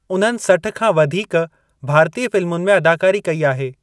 उन्हनि सठ खां वधीक भारतीय फ़िल्मुनि में अदाकारी कई आहे।